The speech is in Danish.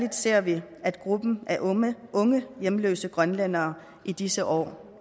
at særlig gruppen af unge hjemløse grønlændere i disse år